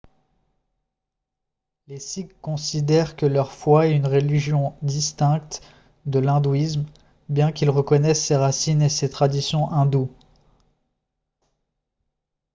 les sikhs considèrent que leur foi est une religion distincte de l'hindouisme bien qu'ils reconnaissent ses racines et ses traditions hindoues